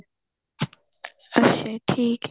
ਅੱਛਾ ਠੀਕ ਏ